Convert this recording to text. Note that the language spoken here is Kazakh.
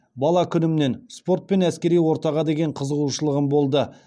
бала күнімнен спорт пен әскери ортаға деген қызығушылығым болды